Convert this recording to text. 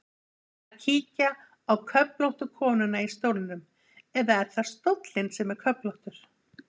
Best að kíkja á köflóttu konuna í stólnum, eða er það stóllinn sem er köflóttur?